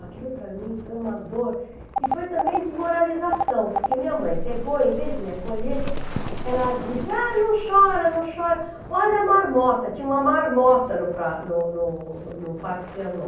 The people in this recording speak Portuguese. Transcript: Aquilo para mim foi uma dor e foi também desmoralização, porque minha mãe pegou, em vez de me acolher, ela disse, ah, não chora, não chora, olha a marmota, tinha uma marmota no no no no Parque Triângulo.